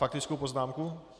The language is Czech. Faktickou poznámku?